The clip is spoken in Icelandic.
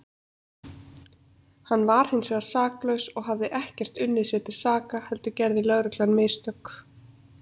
Hann var hinsvegar saklaus og hafði ekkert unnið sér til saka heldur gerði lögreglan mistök.